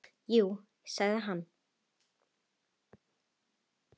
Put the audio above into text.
Jú sagði hann.